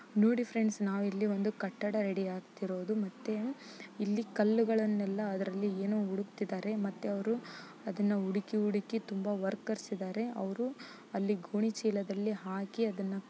ನೋಡಿ ಫ್ರೆಂಡ್ಸ್ ನಾವಿಲ್ಲಿ ಒಂದು ಕಟ್ಟಡ ರೆಡಿ ಆಗತಿರೋದು ಮತ್ತೆ ಇಲ್ಲಿ ಕಲ್ಲುಗಳನ್ನೆಲ್ಲ ಅದ್ರಲ್ಲಿ ಏನು ಹುಡುಕ್ತಿದಾರೆ. ಮತ್ತೆ ಅವರು ಅದನ್ನು ಹುಡುಕಿ ಹುಡುಕಿ ತುಂಬ ವರ್ಕರ್ಸ್ ಇದಾರೆ. ಅವರು ಅಲ್ಲಿ ಗೋಣಿಚೀಲದಲ್ಲಿ ಹಾಕಿ ಅದ್ದನ್ನ--